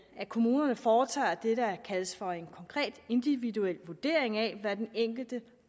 at kommunerne foretager det der kaldes for en konkret individuel vurdering af hvad den enkelte